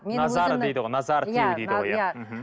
назары дейді ғой назары тию дейді ғой иә мхм